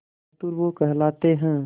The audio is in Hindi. बहादुर वो कहलाते हैं